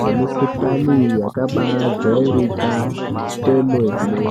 nemukuhlani yakabaajairika kwemene